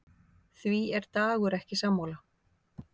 Því er Dagur ekki sammála.